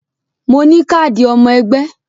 Mo ní káàdì ọmọ ẹgbẹ́